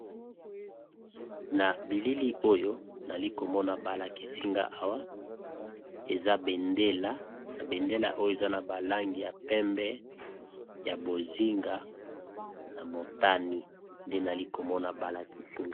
Na bilili oyo tozali komona balakisi nga awa, ezali bongo béndélé